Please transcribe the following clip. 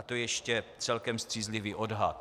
A to je ještě celkem střízlivý odhad.